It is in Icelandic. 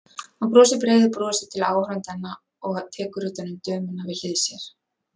Hann brosir breiðu brosi til áhorfendanna og tekur utan um dömuna við hlið sér.